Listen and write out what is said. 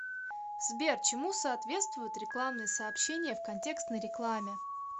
сбер чему соответствуют рекламные сообщения в контекстной рекламе